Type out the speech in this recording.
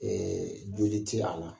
joli te a la